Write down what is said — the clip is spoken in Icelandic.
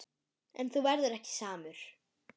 En þú verður ekki samur.